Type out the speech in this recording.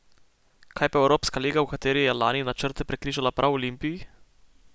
Kaj pa Evropska liga, v kateri je lani načrte prekrižala prav Olimpiji?